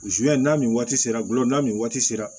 n'a ni waati sera gulola nin waati sera